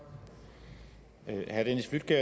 til det